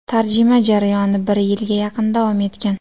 Tarjima jarayoni bir yilga yaqin davom etgan.